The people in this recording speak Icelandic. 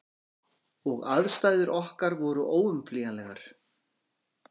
Og aðstæður okkar voru óumflýjanlegar.